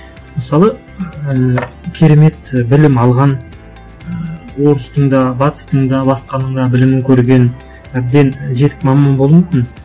мысалы ііі керемет білім алған ы орыстың да батыстың да басқаның да білімін көрген әбден жетік маман болу мүмкін